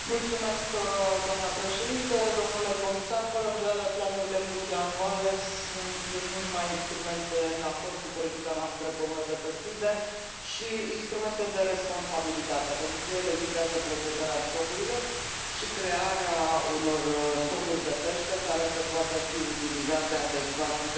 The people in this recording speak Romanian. Doamna președintă, domnule comisar, fără îndoială, planurile multianuale sunt nu numai instrumente în acord cu politica noastră comună de pescuit, dar și instrumente de responsabilitate, pentru că ele vizează protejarea stocurilor și crearea unor stocuri de pește care să poată fi utilizate adecvat de populație.